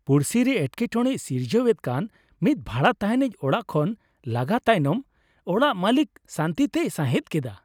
ᱯᱩᱲᱥᱤ ᱨᱮ ᱮᱴᱠᱮᱴᱚᱲᱮᱭ ᱥᱤᱨᱡᱟᱹᱣᱮᱫ ᱠᱟᱱ ᱢᱤᱫ ᱵᱷᱟᱲᱟ ᱛᱟᱦᱮᱱᱤᱡᱽ ᱚᱲᱟᱜ ᱠᱷᱚᱱ ᱞᱟᱜᱟ ᱛᱟᱭᱱᱚᱢ ᱚᱲᱟᱜ ᱢᱟᱹᱞᱤᱠ ᱥᱟᱹᱱᱛᱤᱛᱮᱭ ᱥᱟᱸᱦᱮᱫᱽ ᱠᱮᱫᱟ ᱾